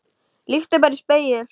Líttu bara í spegil.